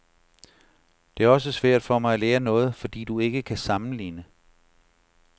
Det er også svært for mig at lære noget, fordi du ikke kan sammenligne.